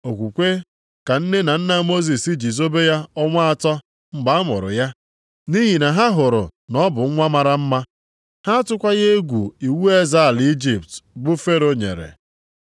Okwukwe ka nne na nna Mosis ji zobe ya ọnwa atọ mgbe a mụrụ ya, nʼihi na ha hụrụ na ọ bụ nwa mara mma. Ha atụkwaghị egwu iwu eze ala Ijipt bụ Fero nyere.